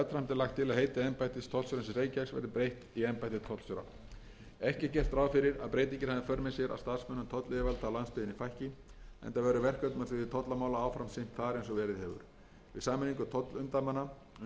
verði breytt í embætti tollstjóra ekki er gert ráð fyrir að breytingin hafi í för með sér að starfsmönnum tollyfirvalda á landsbyggðinni fækki enda verður verkefnum á sviði tollamála áfram sinnt þar eins og verið hefur við sameiningu tollumdæmanna undir einum